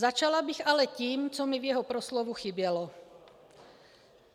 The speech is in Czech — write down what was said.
Začala bych ale tím, co mi v jeho proslovu chybělo.